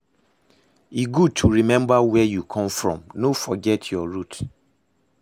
E good to remember where you come from, no forget your root